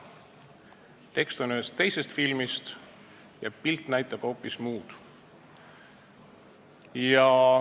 Tekst on ühest teisest filmist, pilt näitab hoopis muud.